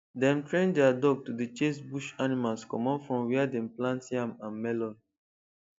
dem train their dog to dey chase bush animals comot from where dem plant yam and melon